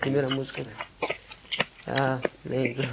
Primeira música que... Ah, lembro.